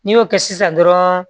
N'i y'o kɛ sisan dɔrɔn